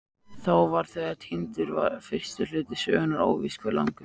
Þá var þegar týndur fyrsti hluti sögunnar, óvíst hve langur.